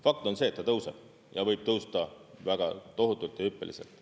Fakt on see, et ta tõuseb ja võib tõusta väga tohutult ja hüppeliselt.